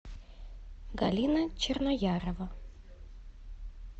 галина черноярова